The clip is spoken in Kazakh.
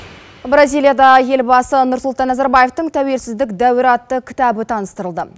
бразилияда елбасы нұрсұлтан назарбаев тәуелсіздік дәуірі атты кітабы таныстырылды